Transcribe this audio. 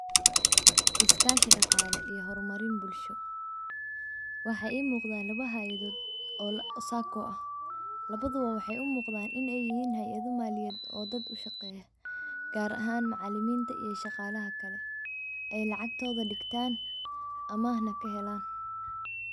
Iskaashi dhaqale oo horumarin bulsho. waxa ii muqda laba hayadood oo sacco ah labada waxay u muqdan inay yihiin hayada malyad oo dad ushaqeeya, gaar ahan macaaliminta iyo shaqalaha kale ee lacagtoda dhigtan amah na ka helaan